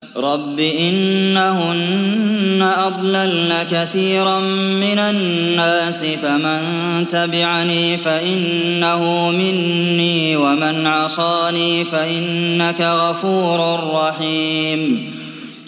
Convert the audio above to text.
رَبِّ إِنَّهُنَّ أَضْلَلْنَ كَثِيرًا مِّنَ النَّاسِ ۖ فَمَن تَبِعَنِي فَإِنَّهُ مِنِّي ۖ وَمَنْ عَصَانِي فَإِنَّكَ غَفُورٌ رَّحِيمٌ